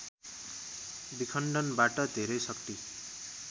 विखण्डनबाट धेरै शाक्ति